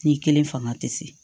Ni kelen fanga tɛ se